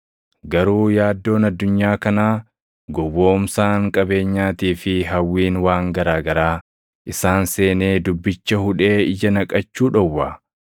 garuu yaaddoon addunyaa kanaa, gowwoomsaan qabeenyaatii fi hawwiin waan garaa garaa isaan seenee dubbicha hudhee ija naqachuu dhowwa.